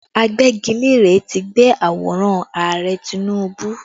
Agbẹ́gilére tí gbẹ́ àwòrán Ààrẹ Tinubu